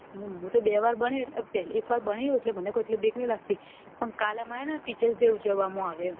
હું તો બે વાર બની એક આર બની મને એટલી બીક નથી લગતી પણ કાલ અમાર teacher day ઉજવવા આવે છે એમ